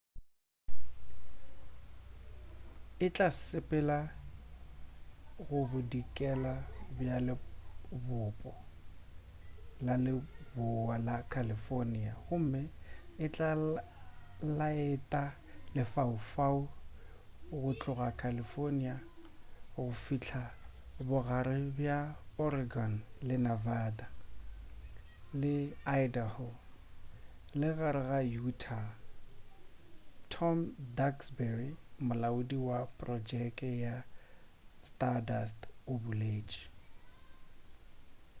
e tla sepelela go bodikela bja lebopo la lebowa la california gomme e tla laeta lefaufau go tloga california go fihla bogare bja oregon le nevada le idaho le ka gare ga utah tom duxbury molaodi wa projeke ya stardust o boletši